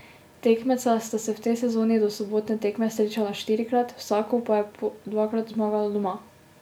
Tekmeca sta se v tej sezoni do sobotne tekme srečala štirikrat, vsako pa je po dvakrat zmagalo doma.